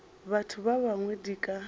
batho ba bangwe di ka